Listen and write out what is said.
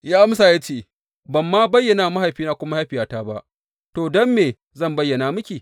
Ya amsa ya ce, Ban ma bayyana wa mahaifina ko mahaifiyata ba, to, don me zan bayyana miki?